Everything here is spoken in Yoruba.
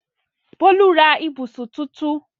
Bólú ra ibùsùn tuntun?